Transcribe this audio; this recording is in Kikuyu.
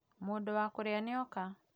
Mũndũ wakũrĩa nĩoka